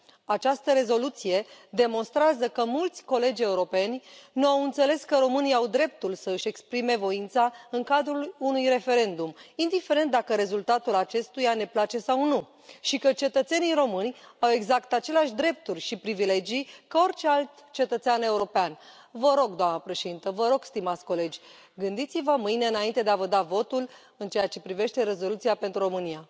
Această rezoluție demonstrează că mulți colegi europeni nu au înțeles că românii au dreptul să își exprime voința în cadrul unui referendum, indiferent dacă rezultatul acestuia ne place sau nu și că cetățenii români au exact aceleași drepturi și privilegii ca orice alt cetățean european. Vă rog, doamna președintă, vă rog, stimați colegi, gândiți vă mâine înainte de a vă da votul în ceea ce privește rezoluția pentru România.